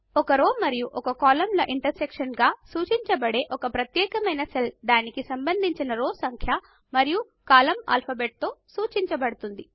ఒక రో మరియు ఒక కాలమ్ ల ఇంటర్సెక్షన్ గా సూచింపబడే ఒక ప్రత్యేకమైన సెల్ దానికి సంబంధించిన రో సంఖ్య మరియు కాలమ్ ఆల్ఫాబెట్ లతో సూచింపబడుతుంది